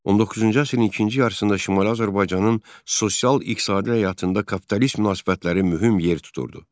19-cu əsrin ikinci yarısında Şimali Azərbaycanın sosial-iqtisadi həyatında kapitalist münasibətləri mühüm yer tuturdu.